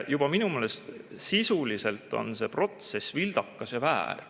Minu meelest sisuliselt on see protsess vildakas ja väär.